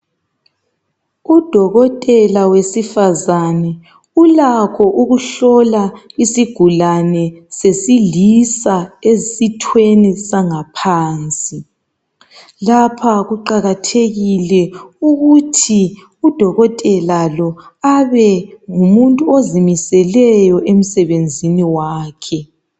Udokotela wesifazana ulakho ukuhlola isigulane sesilisa esithweni sangaphansi lapha kuqakathekile ukuthi udokotela lo abe ngumuntu ozimiseleyo emsebenzini wakhe.